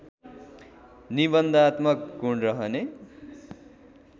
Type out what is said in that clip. निबन्धात्मक गुण रहने